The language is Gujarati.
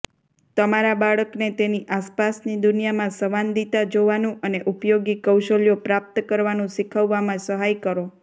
તમારા બાળકને તેની આસપાસની દુનિયામાં સંવાદિતા જોવાનું અને ઉપયોગી કૌશલ્યો પ્રાપ્ત કરવાનું શીખવામાં સહાય કરો